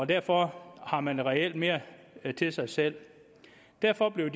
derfor har man reelt mere til sig selv derfor blev